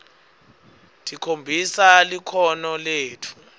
tikhombisa likhono letfu